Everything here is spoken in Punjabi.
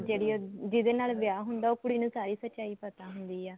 ਜਿਹੜੀ ਉਹ ਜਿਹਦੇ ਨਾਲ ਵਿਆਹ ਹੁੰਦਾ ਉਹ ਕੁੜੀ ਨੂੰ ਸਾਰੀ ਸਚਾਈ ਪਤਾ ਹੁੰਦੀ ਐ